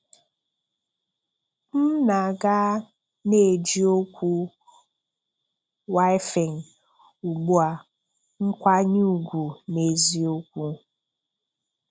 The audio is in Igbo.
M na-aga na-eji okwu wìfìng ugbu a. nkwànyè ùgwù, n’eziokwu.